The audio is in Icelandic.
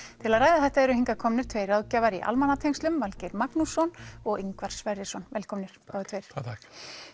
til að ræða þetta eru hingað komnir tveir ráðgjafar í almannatengslum Valgeir Magnússon og Ingvar Sverrisson velkomnir báðir tveir takk